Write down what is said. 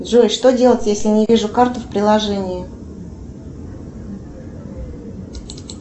джой что делать если не вижу карту в приложении